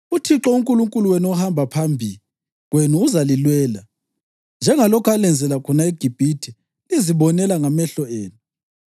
UThixo uNkulunkulu wenu ohamba phambi kwenu uzalilwela, njengalokho alenzela khona eGibhithe lizibonela ngamehlo enu,